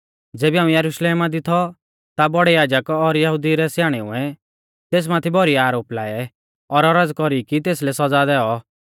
ज़ेबी हाऊं यरुशलेमा दी थौ ता बौड़ै याजक और यहुदिऊ रै स्याणेउऐ तेस माथै भौरी आरोप लाऐ और औरज़ कौरी कि तेसलै सौज़ा दैऔ